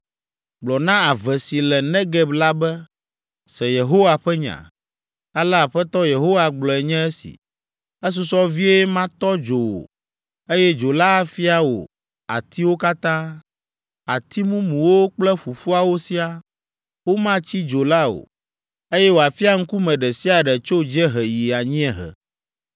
Gblɔ na ave si le Negeb la be, ‘Se Yehowa ƒe nya. Ale Aƒetɔ Yehowa gblɔe nye esi: Esusɔ vie matɔ dzo wò, eye dzo la afia wò atiwo katã, ati mumuwo kple ƒuƒuawo siaa. Womatsi dzo la o, eye wòafia ŋkume ɖe sia ɖe tso dziehe yi anyiehe.